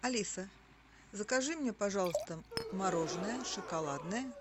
алиса закажи мне пожалуйста мороженое шоколадное